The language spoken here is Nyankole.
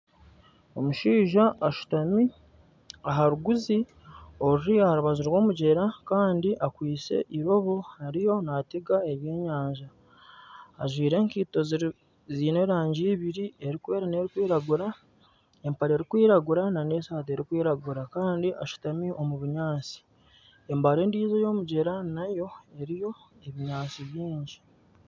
Omushaija ashutami aharuguzi oruri aharubaju rw'omugyera Kandi akwitse irobo ariyo natega ebyenyanja. Ajwire enkaito ziine erangi ibiri erikwera n'erikwiragura, empare erikwiragura nana esati erikwiragura Kandi ashutami omu bunyaatsi. Embari endijo eyomugyera nayo eriyo ebinyaatsi bingi.